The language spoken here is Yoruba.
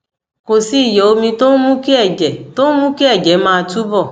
kò sí ìyọ omi tó ń mú kí ẹjẹ tó ń mú kí ẹjẹ máa túbọ